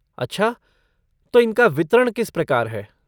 अच्छा, तो इनका वितरण किस प्रकार है?